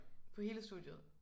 På hele studiet?